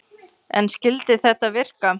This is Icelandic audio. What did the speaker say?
En skyldi þetta virka?